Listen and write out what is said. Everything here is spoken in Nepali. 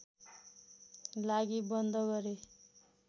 लागि बन्द गरे